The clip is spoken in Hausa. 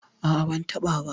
A'a, ba'a taɓa ba.